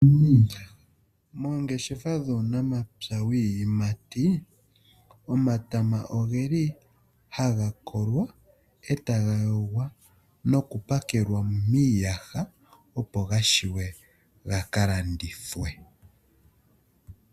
Moongeshefa dhuunamapya wiiyimati omatama oge li haga kolwa eta ga yogwa noku pakelwa miiyaha opo gashiwe gaka landithwe.